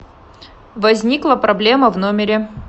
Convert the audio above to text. возникла проблема в номере